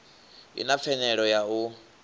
i na pfanelo ya u